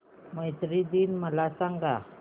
मैत्री दिन मला सांगा